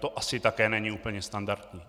To asi také není úplně standardní.